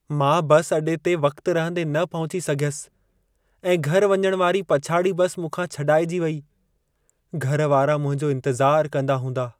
मां बस अॾे ते वक्त रहंदे न पहुची सघियसि ऐं घरि वञण वारी पछाड़ी बसि मूंखां छॾाइजी वेई। घर वारा मुंहिंजो इंतज़ारु कंदा हूंदा।